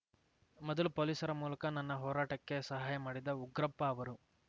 ಮೊದಲು ಪೊಲೀಸರ ಮೂಲಕ ನನ್ನ ಹೋರಾಟಕ್ಕೆ ಸಹಾಯ ಮಾಡಿದ ಉಗ್ರಪ್ಪ ಅವರು